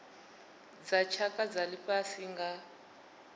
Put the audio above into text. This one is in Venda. dza tshaka dza lifhasi nga